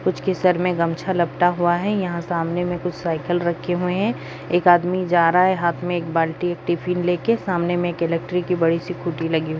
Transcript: कुछ के सर मे गमछा लपटा हुआ है यहाँ सामने में कुछ साइकिल रखी हुई है एक आदमी जा रहा है हाथ में एक बाल्टी एक टिफ़िन लेके सामने में इलेक्ट्री की बड़ी सी खुटी लगी --